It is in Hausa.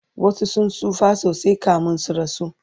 wasu sun tsufa sosai kamin su rasu